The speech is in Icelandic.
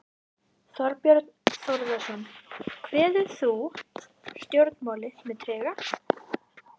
Þorbjörn Þórðarson: Kveður þú stjórnmálin með trega?